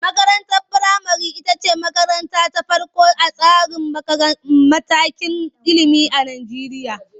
Makarantar firamare ita ce makaranta ta farko a tsarin matakan ilimi a Najeriya.